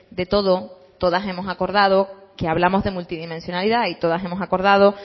de todo todas hemos acordado que hablamos de multidimensionalidad y todas hemos acordado